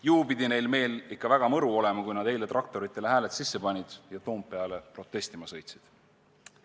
Ju pidi neil meel ikka väga mõru olema, kui nad eile traktoritele hääled sisse panid ja Toompeale protestima sõitsid.